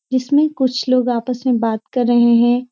जिसमें कुछ लोग आपस में बात कर रहे हैं।